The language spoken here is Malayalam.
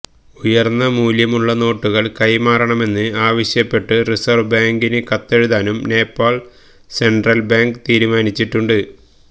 ഉയര്ന്ന മൂല്യമുള്ള നോട്ടുകള് കൈമാറണമെന്ന് ആവശ്യപ്പെട്ട് റിസര്വ് ബാങ്കിനു കത്തെഴുതാനും നേപ്പാള് സെന്ട്രല് ബാങ്ക് തീരുമാനിച്ചിട്ടുണ്ട്